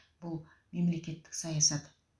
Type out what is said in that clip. бұл мемлекеттік саясат